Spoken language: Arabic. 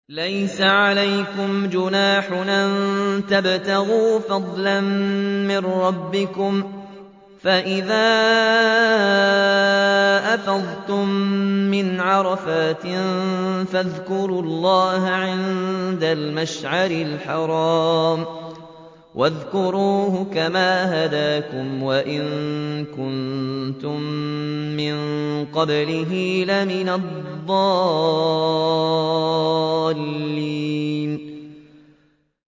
لَيْسَ عَلَيْكُمْ جُنَاحٌ أَن تَبْتَغُوا فَضْلًا مِّن رَّبِّكُمْ ۚ فَإِذَا أَفَضْتُم مِّنْ عَرَفَاتٍ فَاذْكُرُوا اللَّهَ عِندَ الْمَشْعَرِ الْحَرَامِ ۖ وَاذْكُرُوهُ كَمَا هَدَاكُمْ وَإِن كُنتُم مِّن قَبْلِهِ لَمِنَ الضَّالِّينَ